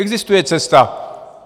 Existuje cesta.